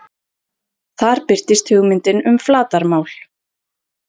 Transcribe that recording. Þar birtist hugmyndin um flatarmál.